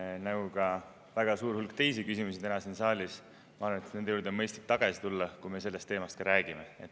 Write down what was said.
See ja ka väga suur hulk teisi täna siin saalis küsimusi, ma arvan, juurde on mõistlik tagasi tulla, kui me sellest teemast räägime.